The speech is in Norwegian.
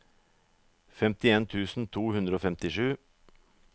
femtien tusen to hundre og femtisju